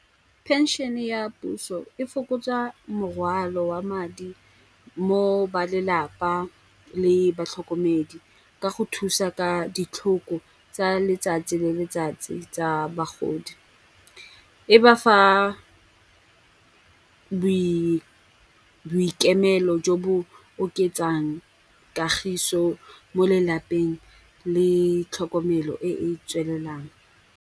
Pension-e ya puso e fokotsa morwalo wa madi mo ba lelapa le batlhokomedi ka go thusa ka ditlhoko tsa letsatsi le letsatsi tsa bagodi. E ba fa boikemelo jo bo oketsang kagiso mo lelapeng le tlhokomelo e e tswelelang.